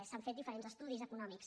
s’han fet diferents estudis econòmics